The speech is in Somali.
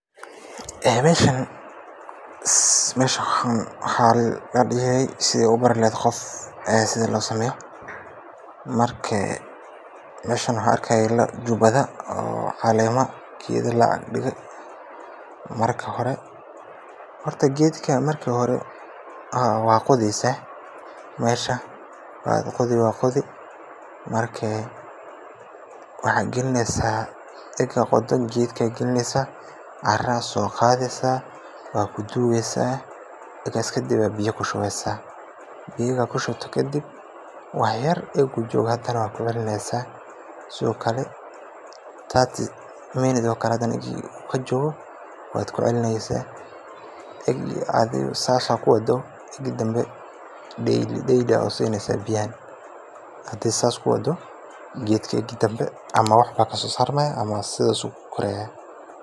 Meeshan wax arka jubada oo geda laadige marka hore gedkan meeshan wa qodeysa kadib waxa gedka aya galineysa caraa soqadeysa wad dugeysa egas kadib aya biyo kushubeysa marka kushubtid wax yar egu jgoo hada wad kucelineysa sido kale thirty minute ayad kucelineysa marka sidas kuwado marka dambe daily usineysa marka sida kuwa gedka ega dambe wax kasosarmaya ama sidas kukoraya.